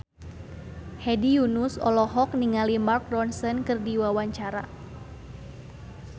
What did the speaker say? Hedi Yunus olohok ningali Mark Ronson keur diwawancara